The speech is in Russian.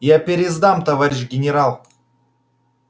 я пересдам товарищ генерал